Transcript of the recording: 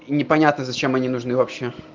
непонятно зачем они нужны вообще